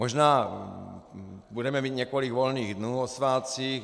Možná budeme mít několik volných dnů o svátcích.